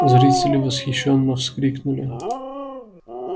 зрители восхищённо вскрикнули